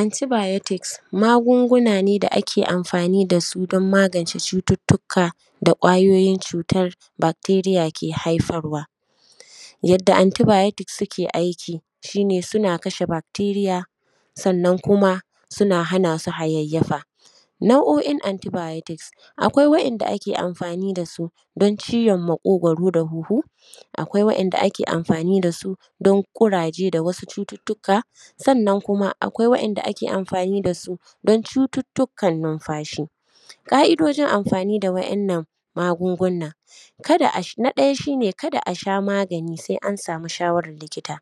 Anti bayotis magunguna ne da ake amfani dasu don magance cututuka da kwayoyin cutan bakteriya ke haifarwa, yanda anti bayotik suke aiki suna kashe bakteriya sannan kuma suna hana su hayyayafa. Nau’o’in anti bayotik akwai wa’yanda ake amfani da su don ciwon maƙogaro da huhu, akwai wa’yanda ake amfani da su don ƙuraje da wasu cututuka sannan kuma akwai wa’yanda ake amfani dasu don cututukan numfashi. Ka’idojin amfani da wannan magunguna kada asha, na ɗaya shi ne kada asha magani sai an samu shawaran likita.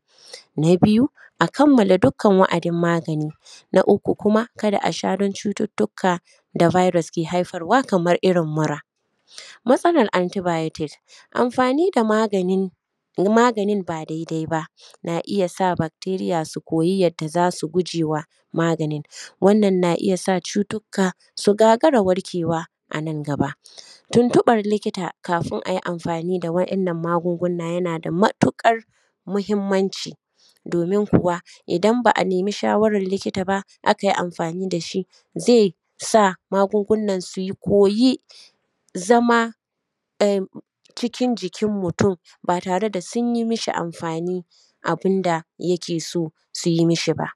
Na biyu a kammala dukkan wa’adin magani. Na uku kuma kada asha don cututuka da biyros ke haifarwa kamar irin mura. Matsalan anti biyotik amfani da maganin ba daidai ba na iya da bakteriya su koyi yadda za su gujewa maganin, wannan na iya sa cutuka su gagara warkewa anan gaba. Tuntuban likita kafin ayi amfani da wa’innan magunguna yana da matuƙar mahimmanci domin kuwa idan ba’a nemi shawaran likita ba akai amfani dashi zai magungunan su koyi zama cikin jikin mutum ba tare da sun yi mishi amfani abun da yike so yi mishi ba.